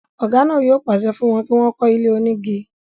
ọ̀gá náà yóò pàṣẹ fún wọn kí wọ́n kọ́ ilé onígi.